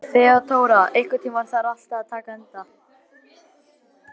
Þeódóra, einhvern tímann þarf allt að taka enda.